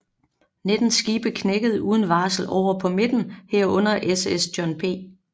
Nitten skibe knækkede uden varsel over på midten herunder SS John P